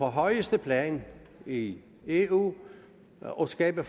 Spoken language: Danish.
højeste plan i eu og skabe